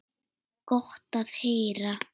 Gott að heyra.